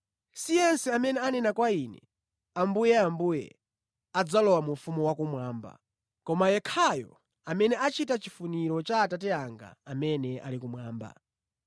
“Si munthu aliyense amene amanena kwa Ine, ‘Ambuye, Ambuye,’ adzalowe mu ufumu wakumwamba, koma ndi yekhayo amene amachita chifuniro cha Atate anga amene ali kumwamba.